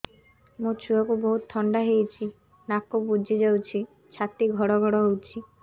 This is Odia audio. ମୋ ଛୁଆକୁ ବହୁତ ଥଣ୍ଡା ହେଇଚି ନାକ ବୁଜି ଯାଉଛି ଛାତି ଘଡ ଘଡ ହଉଚି